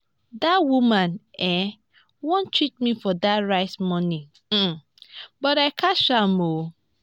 dat woman um wan cheat me for dat rice money um but i catch am um